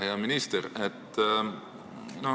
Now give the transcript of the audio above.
Hea minister!